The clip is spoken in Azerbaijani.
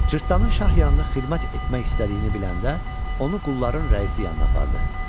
Cırtdanın şah yanında xidmət etmək istədiyini biləndə onu qulların rəisi yanına apardı.